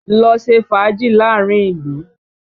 Lọ ṣe fàájì láàárín ìlú!